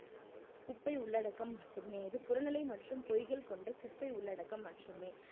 குப்பை உள்ளடக்கம் மட்டுமே இது புறநிலை மற்றும் பொய்கள் கொண்ட குப்பை உள்ளடக்கம் மட்டுமே